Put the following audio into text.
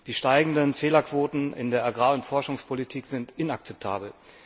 Die steigenden Fehlerquoten in der Agrar und Forschungspolitik sind inakzeptabel.